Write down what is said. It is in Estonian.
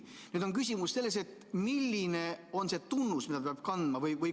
Nüüd on küsimus selles, milline on see tunnus, mida ta peab kandma.